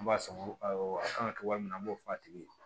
An b'a san awɔ a kan ka kɛ waati min na an b'o fɔ a tigi ye